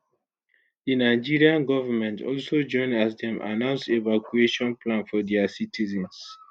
di nigerian government also join as dem announce evacuation plan for dia citizens